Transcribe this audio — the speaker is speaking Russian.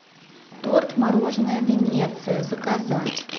торт мороженое венеция заказать